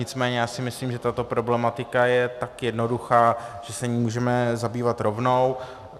Nicméně já si myslím, že tato problematika je tak jednoduchá, že se jí můžeme zabývat rovnou.